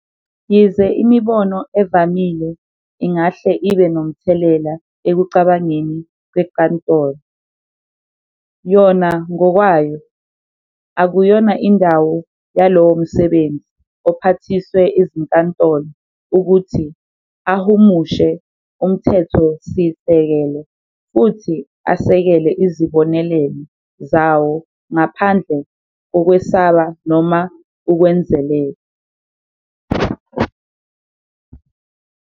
Yize imibono evamile ingahle ibe nomthelela ekucabangeni kwenkantolo, "yona ngokwayo, akuyona indawo yalowo msebenzi ophathiswe izinkantolo ukuthi ahumushe uMthethosisekelo futhi asekele izibonelelo zawo ngaphandle kokwesaba noma ukwenzelela."